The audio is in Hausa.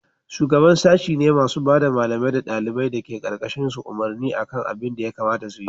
shugaban sashi me masu bada malamai da daliban dake karkashin su umarni akan abin da ya kamata su yi